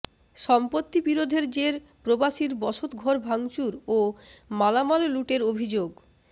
সম্পত্তি বিরোধের জের প্রবাসীর বসতঘর ভাঙচুর ও মালামাল লুটের অভিযোগ